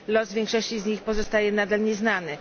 Los większości z nich pozostaje nadal nieznany.